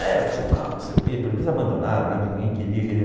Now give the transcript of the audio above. É, foi mal, não sei o quê, abandonaram, né, porque ninguém queria, queria.